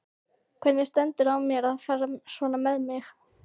Hvernig stendur á mér að fara svona með mig?